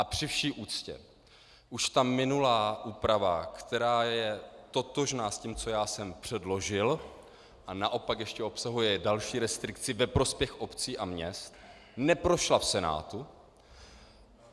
A při vší úctě, už ta minulá úprava, která je totožná s tím, co já jsem předložil, a naopak ještě obsahuje další restrikci ve prospěch obcí a měst, neprošla v Senátu.